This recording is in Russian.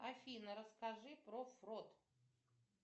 афина расскажи про фрот